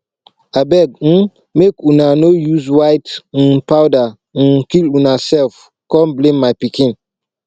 abeg um make una no use white um powder um kill una self come blame my pikin